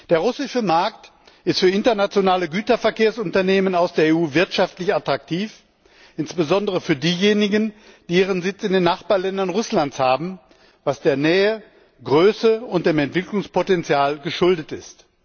Der russische Markt ist für internationale Güterverkehrsunternehmen aus der EU wirtschaftlich attraktiv, insbesondere für diejenigen, die ihren Sitz in den Nachbarländern Russlands haben, was der Nähe, Größe und dem Entwicklungspotenzial geschuldet ist.